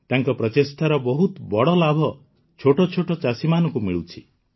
ତାଙ୍କ ପ୍ରଚେଷ୍ଟାର ବହୁତ ବଡ଼ ଲାଭ ଛୋଟ ଛୋଟ ଚାଷୀମାନଙ୍କୁ ମିଳୁଛି